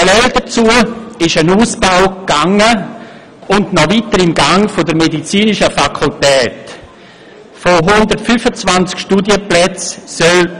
Parallel dazu gab es einen Ausbau der Medizinischen Fakultät, der noch immer im Gange ist.